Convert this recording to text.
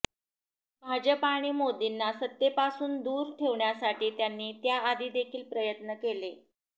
भाजप आणि मोदींना सत्तेपासून दूर ठेवण्यासाठी त्यांनी याआधी देखील प्रयत्न केले